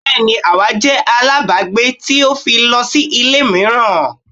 Bẹ́ẹ́ni awa jẹ alábàágbé titi o fi lọ si ile miiran